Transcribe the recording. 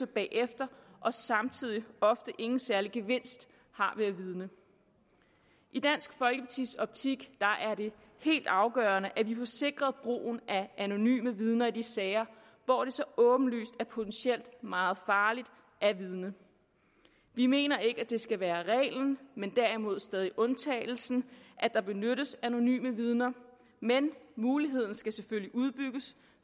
bagefter og samtidig ofte ingen særlig gevinst har ved at vidne i dansk folkepartis optik er det helt afgørende at vi får sikret brugen af anonyme vidner i de sager hvor det så åbenlyst er potentielt meget farligt at vidne vi mener ikke at det skal være reglen men derimod stadig undtagelsen at der benyttes anonyme vidner men muligheden skal selvfølgelig udbygges